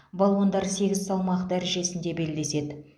балуандар сегіз салмақ дәрежесінде белдеседі